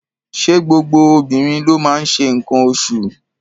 Ṣé gbogbo obìnrin ló máa ń ṣe nǹkan oṣụ̀?